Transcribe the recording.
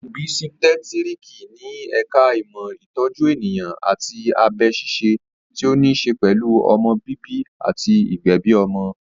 Òbísítẹ́tíriki ni ẹ̀ka ìmọ̀ ìtọ́jú ènìyàn àti abẹ ṣíṣe tí ó ní ṣe pẹ̀lú ọmọ bíbí àti ìgbẹ̀bi ọmọ